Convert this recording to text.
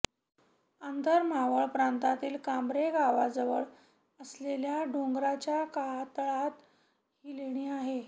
आंदर मावळ प्रांतातील कांब्रे गावाजवळ असलेल्या डोंगराच्या कातळात ही लेणी आहे